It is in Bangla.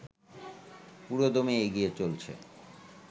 পুরোদমে এগিয়ে চলছে